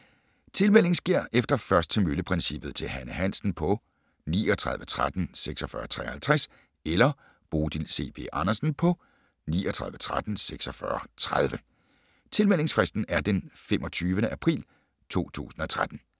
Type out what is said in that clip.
Tilmelding sker efter først til mølle-princippet til Hanne Hansen på 39 13 46 53 eller Bodil C. B. Andersen på 39 13 46 30. Tilmeldingsfristen er den 25. april 2013.